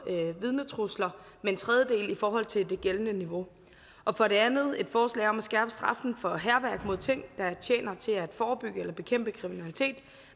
vidnetrusler med en tredjedel i forhold til det gældende niveau og for det andet et forslag om at skærpe straffen for hærværk mod ting der tjener til at forebygge eller bekæmpe kriminalitet